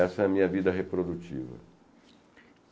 Essa é a minha vida reprodutiva.